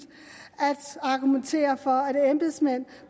at argumentere for at embedsmænd